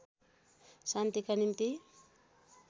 शान्तिका निम्ति